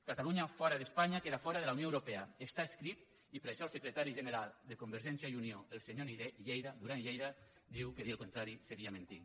catalunya fora d’espanya queda fora de la unió europea està escrit i per això el secretari general de convergència i unió el senyor duran i lleida diu que dir el contrari seria mentir